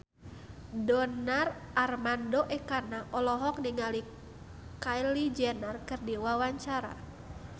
Donar Armando Ekana olohok ningali Kylie Jenner keur diwawancara